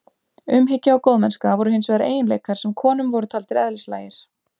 Umhyggja og góðmennska voru hins vegar eiginleikar sem konum voru taldir eðlislægir.